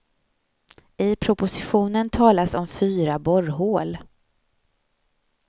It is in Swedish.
I propositionen talas om fyra borrhål.